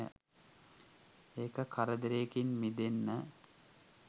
ඒක කරදරේකින් මිදෙන්න